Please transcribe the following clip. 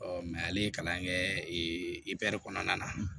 ale ye kalan kɛɛ kɔnɔna na